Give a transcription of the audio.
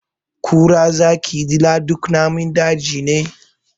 Kura, zaki, dila duk namun daji ne.